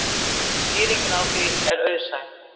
Skýringin á því er auðsæ.